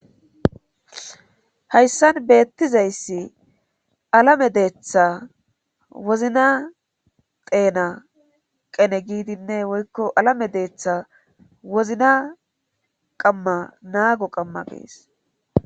hayssan beettizayssi alame deetha wozna teena qene giidinne woykko alame deetha wozna qamma naago qamma gees